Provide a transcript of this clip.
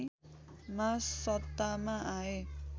मा सत्तामा आए